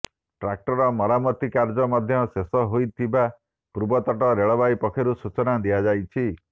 tracker ମରାମତି କାର୍ଯ୍ୟ ମଧ୍ୟ ଶେଷ ହୋଇଥିବା ପୂର୍ବତଟ ରେଳବାଇ ପକ୍ଷରୁ ସୂଚନା ଦିଆଯାଇଛି